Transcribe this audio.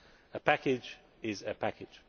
A package is a package!